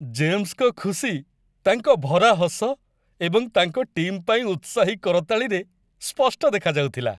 ଜେମ୍ସଙ୍କ ଖୁସି ତାଙ୍କ ଭରା ହସ ଏବଂ ତାଙ୍କ ଟିମ୍ ପାଇଁ ଉତ୍ସାହୀ କରତାଳିରେ ସ୍ପଷ୍ଟ ଦେଖାଯାଉଥିଲା।